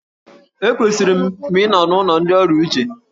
Ekwesịrị m ịnọ n'ụlọ ndị ọrịa uche.